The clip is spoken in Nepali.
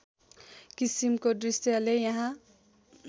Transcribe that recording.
किसिमको दृश्यले यहाँ